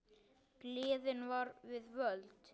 Gleðin var við völd.